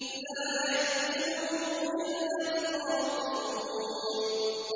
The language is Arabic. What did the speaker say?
لَّا يَأْكُلُهُ إِلَّا الْخَاطِئُونَ